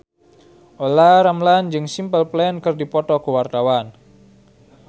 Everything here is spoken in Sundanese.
Olla Ramlan jeung Simple Plan keur dipoto ku wartawan